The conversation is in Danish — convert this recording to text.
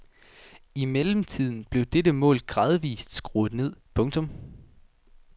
I mellemtiden blev dette mål gradvist skruet ned. punktum